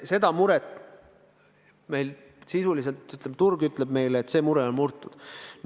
Seda muret meil sisuliselt ei ole, turg ütleb meile, et see mure on murtud.